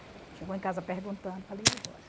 Chegou em casa perguntando, falei, e agora?